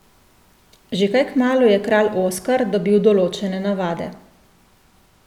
Že kaj kmalu je Kralj Oskar dobil določene navade.